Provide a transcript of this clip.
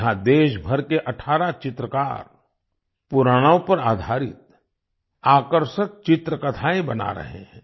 यहाँ देशभर के 18 चित्रकार पुराणों पर आधारित आकर्षक चित्रकथाएँ बना रहे हैं